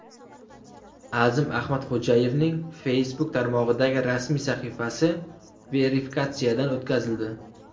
Azim Ahmadxo‘jayevning Facebook tarmog‘idagi rasmiy sahifasi verifikatsiyadan o‘tkazildi.